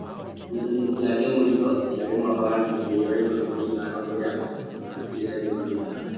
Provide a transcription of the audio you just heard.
Ngucanio ciake cia mũico ciarĩ mwaka wa ngiri igĩrĩ na ikũmi na-ithano kũrĩa amũtandĩkire Wedima Kichako.